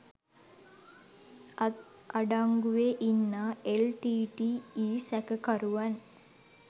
අත් අඩංගුවේ ඉන්නා එල්.ටී.ටී.ඊ සැක කරුවන්